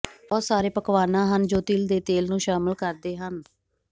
ਬਹੁਤ ਸਾਰੇ ਪਕਵਾਨਾ ਹਨ ਜੋ ਤਿਲ ਦੇ ਤੇਲ ਨੂੰ ਸ਼ਾਮਲ ਕਰਦੇ ਹਨ